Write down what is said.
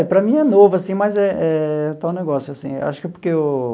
É, para mim é novo, assim, mas eh eh é o tal negócio, assim, acho que é porque eu...